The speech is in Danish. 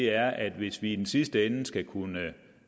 er at hvis vi i den sidste ende skal kunne